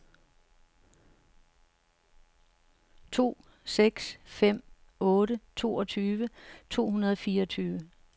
to seks fem otte toogtyve to hundrede og fireogtyve